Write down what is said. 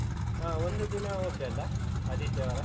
ಆಹ್ ಒಂದು ದಿನ okay ಅಲಾ? ಆದಿತ್ಯವಾರ?